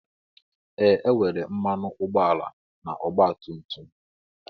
Ee e nwere mmanụ ụgbọala na ọgba tum tum.